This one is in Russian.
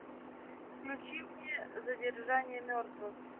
включи мне задержание мертвых